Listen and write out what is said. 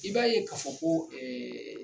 I b'a ye k'a fɔ ko